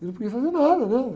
Eu não podia fazer nada, né?